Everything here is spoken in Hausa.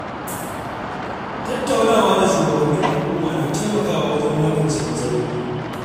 Tattaunawa da shugabannin al’umma na taimakawa wajen magance matsaloli.